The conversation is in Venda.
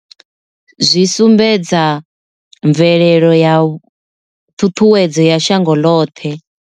Zwi sumbedza mvelelo ya ṱhuṱhuwedzo ya shango ḽoṱhe.